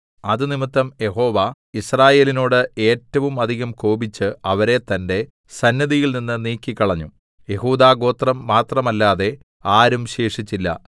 അതുനിമിത്തം യഹോവ യിസ്രായേലിനോട് ഏറ്റവും അധികം കോപിച്ച് അവരെ തന്റെ സന്നിധിയിൽനിന്ന് നീക്കിക്കളഞ്ഞു യെഹൂദാഗോത്രം മാത്രമല്ലാതെ ആരും ശേഷിച്ചില്ല